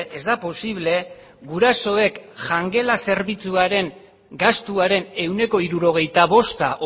ez da posible gurasoek jangela zerbitzuaren gastuaren ehuneko hirurogeita bosta